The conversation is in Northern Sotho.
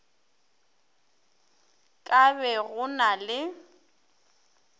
ka be go na le